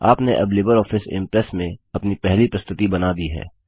आपने अब Libre Office Impress में अपनी पहली प्रस्तुति बना दी है